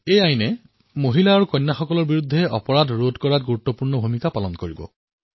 এই আইনে মহিলা আৰু কন্যাৰ বিৰুদ্ধে কৰা অপৰাধ বন্ধ কৰিবলৈ প্ৰভাৱী ভূমিকা গ্ৰহণ কৰিব